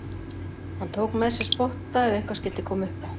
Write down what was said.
Hann tók með sér spotta ef eitthvað skyldi koma upp á.